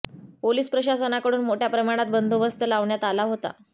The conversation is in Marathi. पोलीस प्रशासनाकडून मोठया प्रमाणात बंदोबस्त लावण्यात आला होता